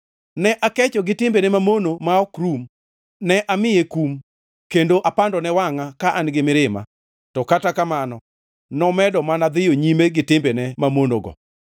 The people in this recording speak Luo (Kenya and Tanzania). Ne akecho gi timbene mamono ma ok rum, ne amiye kum, kendo apandone wangʼa ka an-gi mirima, to kata kamano nomedo mana dhiyo nyime gi timbene mamonogo.